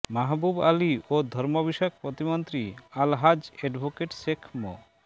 মাহবুব আলী ও ধর্ম বিষয়ক প্রতিমন্ত্রী আলহাজ্ব এডভোকেট শেখ মো